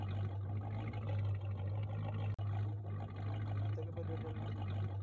അങ്ങനത്തൊക്കെ പരിപാടികളിണ്ട്